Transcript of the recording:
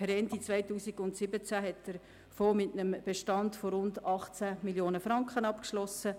Per Ende 2017 hat der Fonds mit einem Bestand von rund 18 Mio. Franken abgeschlossen.